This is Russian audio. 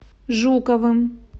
жуковым